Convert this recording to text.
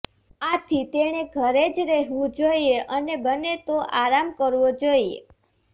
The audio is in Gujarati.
આથી તેણે ઘરે જ રહેવું જોઈએ અને બને તો આરામ કરવો જોઈએ